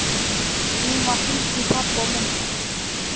Síðan var hringt í pabba og mömmu.